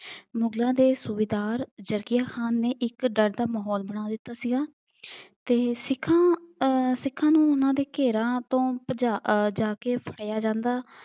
ਮੁਗਲਾਂ ਦੇ ਸੂਬੇਦਾਰ ਜਕੀਆਂ ਖਾਨ ਨੇ ਇੱਕ ਡਰ ਦਾ ਮਾਹੌਲ ਬਣਾ ਦਿੱਤਾ ਸੀਗਾ ਤੇ ਸਿੱਖਾਂ ਆਹ ਸਿੱਖਾਂ ਨੂੰ ਉਹਨਾਂ ਦੇ ਘੇਰਾ ਤੋਂ ਭਜਾ ਆਹ ਜਾਕੇ ਫੜਿਆ ਜਾਂਦਾ।